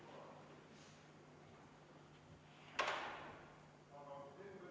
V a h e a e g